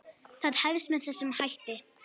Það hefst með þessum hætti: